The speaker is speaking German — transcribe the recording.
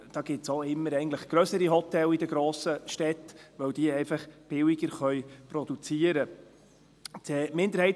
Da gibt es eigentlich auch immer grössere Hotels in den grossen Städten, weil diese einfach billiger produzieren können.